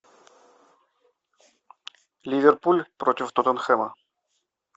ливерпуль против тоттенхэма